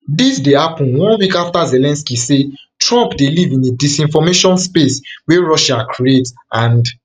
dis dey happun one week after zelensky say trump dey live in a disinformation space wey russia create and